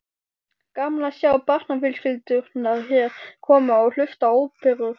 Gaman að sjá barnafjölskyldurnar hér koma og hlusta á óperur.